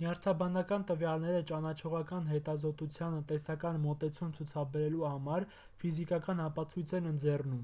նյարդաբանական տվյալները ճանաչողական հետազոտությանը տեսական մոտեցում ցուցաբերելու համար ֆիզիկական ապացույց են ընձեռում